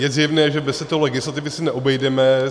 Je zjevné, že bez této legislativy se neobejdeme.